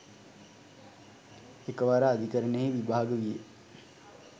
එකවර අධිකරණයෙහි විභාග විය